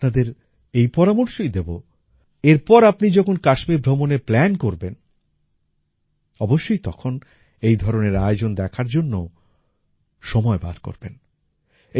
আমি আপনাদের এই পরামর্শই দেবো এরপর আপনি যখন কাশ্মীর ভ্রমণের প্ল্যান করবেন অবশ্যই তখন এই ধরনের আয়োজন দেখার জন্যও সময় বার করবেন